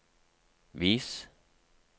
vis